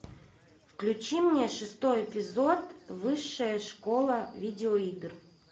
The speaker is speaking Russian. включи мне шестой эпизод высшая школа видеоигр